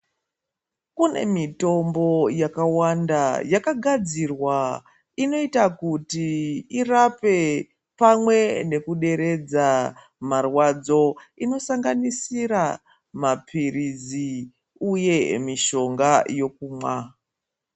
Kune mitombo yaka wanda yakagadzirwa inoita kuti irape pamwe neku deredza marwadzo inosanganisira ma pirizi uye mishonga yokumwa.